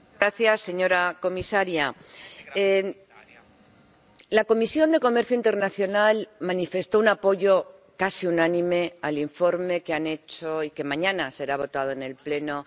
Señor presidente, señora comisaria, la Comisión de Comercio Internacional manifestó un apoyo casi unánime al informe que han hecho y que mañana será votado en el Pleno.